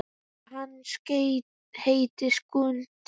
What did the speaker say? Já, hann heitir Skundi.